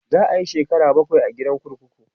zai Yi shekara bakwai a gidan kurkuku